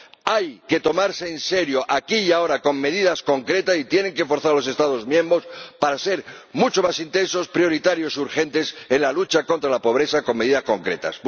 Hay que tomarse esto en serio, aquí y ahora, con medidas concretas, y tienen que forzar a los Estados miembros para que sean mucho más intensos, prioritarios y urgentes en la lucha contra la pobreza con medidas concretas.